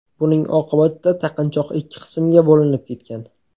Buning oqibatida taqinchoq ikki qismga bo‘linib ketgan.